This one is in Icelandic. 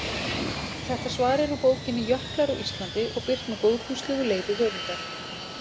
Þetta svar er úr bókinni Jöklar á Íslandi og birt með góðfúslegu leyfi höfundar.